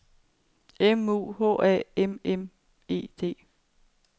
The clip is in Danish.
M U H A M M E D